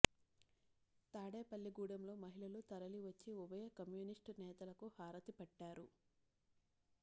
తాడేపల్లిగూడెంలో మహిళలు తరలి వచ్చి ఉభయ కమ్యూనిస్టు నేతలకు హారతి పట్టారు